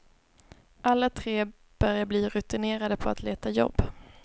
Alla tre börjar bli rutinerade på att leta jobb.